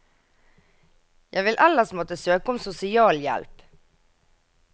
Jeg vil ellers måtte søke om sosialhjelp.